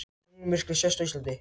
Tunglmyrkvi sést á Íslandi